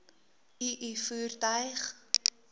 u u voertuig